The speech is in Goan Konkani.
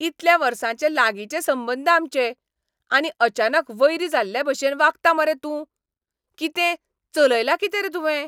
इतल्या वर्सांचे लागिंचे संबंद आमचे. आनी अचानक वैरी जाल्लेभाशेन वागता मरे तूं? कितें, चलयलां कितें रे तुवें?